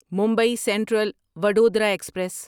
Mumbai Central Vadodara express